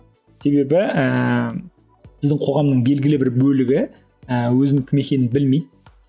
себебі ііі біздің қоғамның белгілі бір бөлігі і өзінің кім екенін білмейді